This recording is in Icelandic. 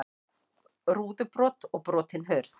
Rúðubrot og brotin hurð